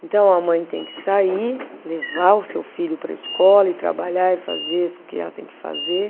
Então, a mãe tem que sair, levar o seu filho para a escola e trabalhar e fazer o que ela tem que fazer.